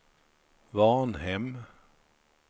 Varnhem